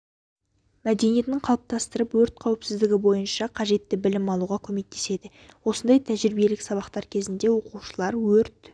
мәдениетін қалыптастырып өрт қауіпсіздігі бойынша қажетті білім алуға көмектеседі осындай тәжірибелік сабақтар кезінде оқушылар өрт